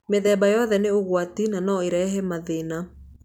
Mĩthemba yothe nĩ ũgwati na no ĩrehe mathĩna.